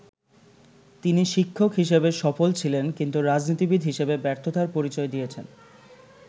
তিনি শিক্ষক হিসেবে সফল ছিলেন, কিন্তু রাজনীতিবিদ হিসেবে ব্যর্থতার পরিচয় দিয়েছেন।